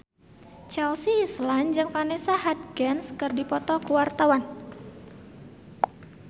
Chelsea Islan jeung Vanessa Hudgens keur dipoto ku wartawan